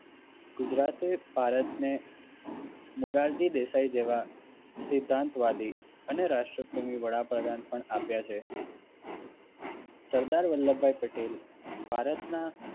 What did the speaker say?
ગુજરાતે ભારતને મોરારજી દેસાઈ જેવા સિધ્ધાંતવાદી અને અને રાષ્ટ્રપ્રેમી વડાપ્રધાન પણ આપ્યા છે. સરદાર વલ્લભભાઈ પટેલ ભારતના